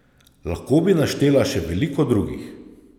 Lahko bi naštela še veliko drugih.